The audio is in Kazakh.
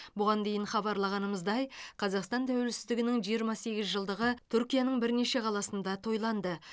бұған дейін хабарлағанымыздай қазақстан тәуелсіздігінің жиырма сегіз жылдығы түркияның бірнеше қаласында тойланды